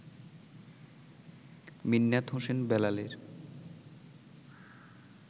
মিন্নাত হোসেন বেলালের